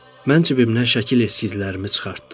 Mən cibimdən şəkil eskizlərimi çıxartdım.